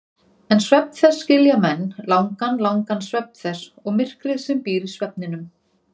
En svefn þess skilja menn, langan, langan svefn þess og myrkrið sem býr í svefninum.